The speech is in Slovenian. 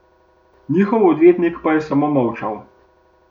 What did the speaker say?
Njihov odvetnik je pa samo molčal ...